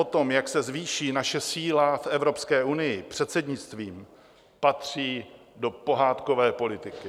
O tom, jak se zvýší naše síla v Evropské unii předsednictvím, patří do pohádkové politiky.